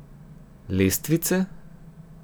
Lestvice?